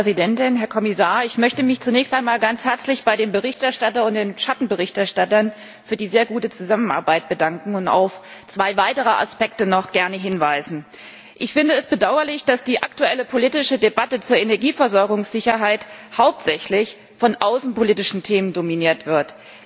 Frau Präsidentin, Herr Kommissar! Ich möchte mich zunächst einmal ganz herzlich beim Berichterstatter und den Schattenberichterstattern für die sehr gute Zusammenarbeit bedanken und auf zwei weitere Aspekte noch gerne hinweisen. Ich finde es bedauerlich, dass die aktuelle politische Debatte zur Energieversorgungssicherheit hauptsächlich von außenpolitischen Themen dominiert wird.